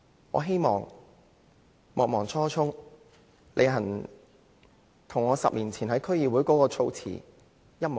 我希望莫忘初衷，履行我10年前在區議會的言論。